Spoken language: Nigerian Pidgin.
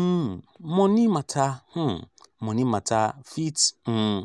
um moni mata um moni mata fit um